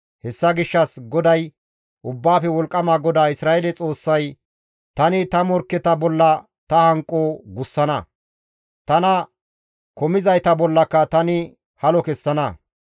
Hessa gishshas GODAY, Ubbaafe Wolqqama GODAA Isra7eele Xoossay, «Tani ta morkketa bolla ta hanqo gussana; tana komizayta bollaka tani halo kessana.